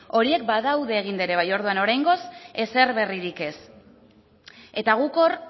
horiek badaude eginda ere bai orduan oraingoz ezer berririk ez eta guk hor